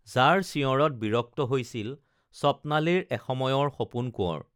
যাৰ চিঞঁৰত বিৰক্ত হৈছিল স্বপ্নালীৰ এসময়ৰ সপোন কোৱঁৰ